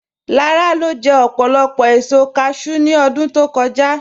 Làrà lo jẹ̀ òpólopò èṣò càshẹw ní ọdún tó kọ̀jà